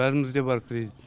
бәрімізде бар кредит